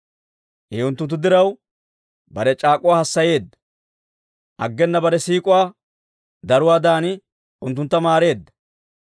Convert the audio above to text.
I unttunttu diraw, bare c'aak'uwaa hassayeedda; aggena bare siik'uwaa daruwaadan unttuntta maareedda.